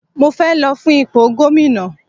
Mo fẹ́ lọ fún ipò gómìnà.